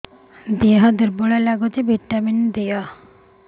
ଦିହ ଦୁର୍ବଳ ଲାଗୁଛି ଭିଟାମିନ ଦେ